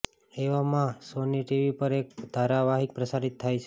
એવા માં Sony TV પર એક ધારાવાહિક પ્રસારિત થાય છે